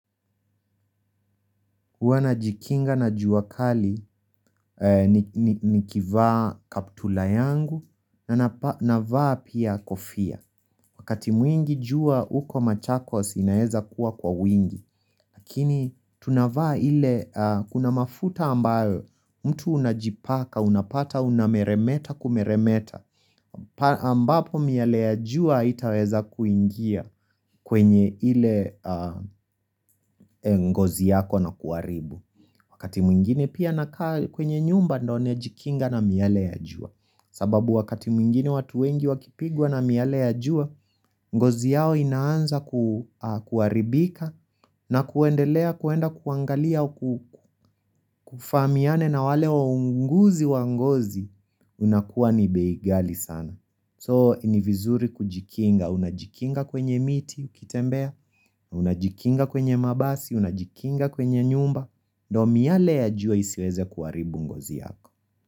Huwa najikinga na jua kali nikivaa kaptula yangu navaa pia kofia Wakati mwingi jua uko machakos inaeza kuwa kwa wingi Lakini tunavaa ile kuna mafuta ambayo mtu unajipaka unapata unameremeta kumeremeta ambapo miale ya jua haitaweza kuingia kwenye ile ngozi yako na kuharibu Wakati mwingine pia nakaa kwenye nyumba ndo najikinga na miale ya jua sababu wakati mwingine watu wengi wakipigwa na miale ya jua ngozi yao inaanza kuharibika na kuendelea kuenda kuangalia Kufamiane na wale waunguzi wa ngozi unakuwa ni bei ghali sana So ni vizuri kujikinga, unajikinga kwenye miti, ukitembea Unajikinga kwenye mabasi, unajikinga kwenye nyumba ndo miyale ya jua isiweze kuharibu ngozi yako.